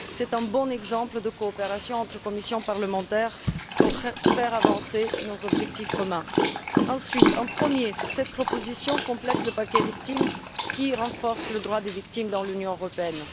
C'est un bon exemple d'une coopération entre commissions parlementaires propre à faire avancer nos objectifs communs. Ensuite, cette proposition complète le paquet Victimes, qui renforce le droit des victimes dans l'Union européenne.